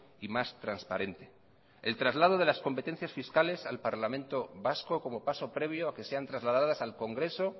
y más transparente el traslado de las competencias fiscales al parlamento vasco como paso previo a que sean trasladadas al congreso